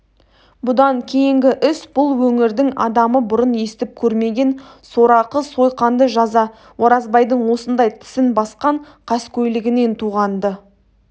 бұдан кейінгі іс бұл өңірдің адамы бұрын естіп көрмеген сорақы сойқанды жаза оразбайдың осындай тісін басқан қаскөйлігінен туған-ды